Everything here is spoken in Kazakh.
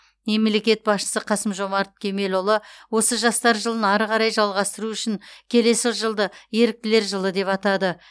мемлекет басшысы қасым жомарт кемелұлы осы жастар жылын ары қарай жалғастыру үшін келесі жылды еріктілер жылы деп атады